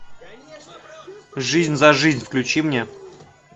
жизнь за жизнь включи мне